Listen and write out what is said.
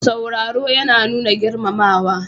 Sauraro yana nuna girmamawa.